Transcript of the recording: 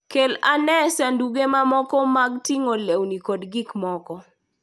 Kel ane sanduge mamoko mag ting'o lewni kod gik mamoko.